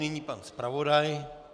Nyní pan zpravodaj.